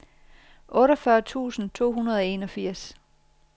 otteogfyrre tusind to hundrede og enogfirs